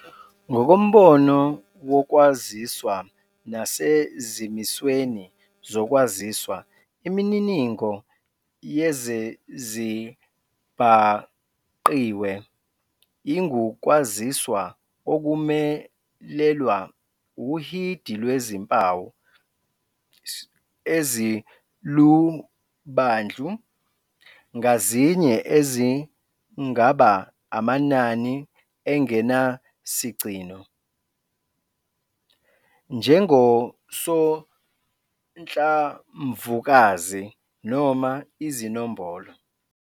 Ngokombono wokwaziswa nasezimisweni zokwaziswa, Imininingo yezezibhangqiwe ingukwaziswa okumelelwa uhidi lwezimpawu ezilubandlu ngazinye ezingaba amanani engenasigcino njengosonhlamvukazi noma izinombolo.